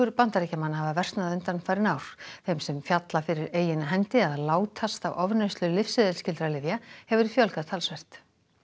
Bandaríkjamanna hafa versnað undanfarin ár þeim sem falla fyrir eigin hendi eða látast af ofneyslu lyfseðilsskyldra lyfja hefur fjölgað talsvert